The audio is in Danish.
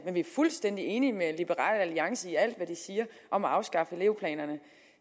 men vi er fuldstændig enige med liberal alliance i alt hvad de siger om at afskaffe elevplanerne